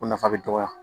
O nafa bɛ dɔgɔya